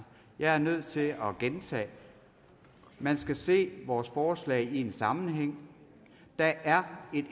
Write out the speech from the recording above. jeg er nødt til at gentage man skal se vores forslag i en sammenhæng der er et